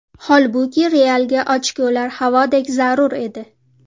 Holbuki, Realga ochkolar havodek zarur edi.